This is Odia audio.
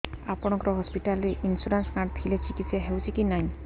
ଆପଣଙ୍କ ହସ୍ପିଟାଲ ରେ ଇନ୍ସୁରାନ୍ସ କାର୍ଡ ଥିଲେ ଚିକିତ୍ସା ହେଉଛି କି ନାଇଁ